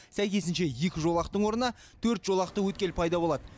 сәйкесінше екі жолақтың орнына төрт жолақты өткел пайда болады